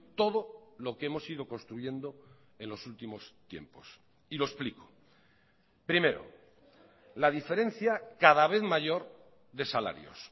todo lo que hemos ido construyendo en los últimos tiempos y lo explico primero la diferencia cada vez mayor de salarios